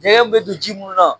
Jɛgɛw bɛ don ji munnu na